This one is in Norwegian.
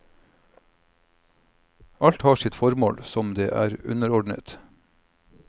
Alt har sitt formål, som det er underordnet.